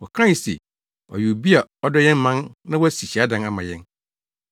Wɔkae se, “Ɔyɛ obi a ɔdɔ yɛn man na wasi hyiadan ama yɛn.”